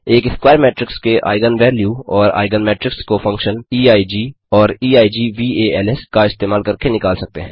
एक square matrix के eigen value और आइगन मेट्रिक्स को फंक्शन eig और eigvals का इस्तेमाल करके निकाल सकते हैं